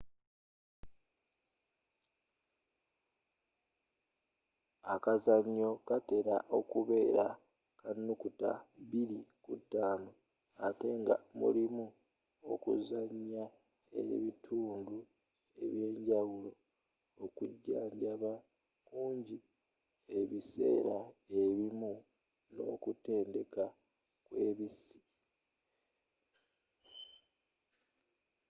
akazannyo katera okubeera ka naku 2-5 ate nga mulimu okuzannya ebitundu ebyenjawulo okujjanjaba kunji ebiseera ebimu n'okutendeka kw'ebissi